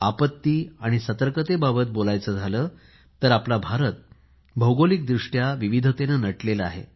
आपत्ती आणि संकटाबाबत बोलायचं झालं तर भारत भौगोलिकदृष्ट्या विविधतेने नटलेला आहे